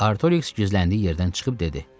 Artorix gizləndiyi yerdən çıxıb dedi.